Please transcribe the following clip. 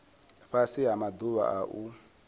fhasi ha maḓuvha a u